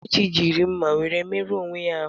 Kelechi jiri mma were merụọ onwe ya ahụ.